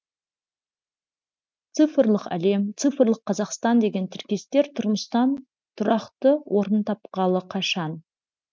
цифрлық әлем цифрлық қазақстан деген тіркестер тұрмыстан тұрақты орнын тапқалы қашан